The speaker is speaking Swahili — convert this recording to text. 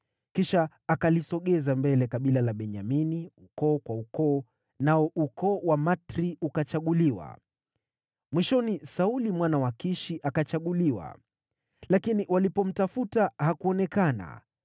Kisha akalisogeza mbele kabila la Benyamini, ukoo kwa ukoo, nao ukoo wa Matri ukachaguliwa. Mwishoni Sauli mwana wa Kishi akachaguliwa. Lakini walipomtafuta, hakuonekana.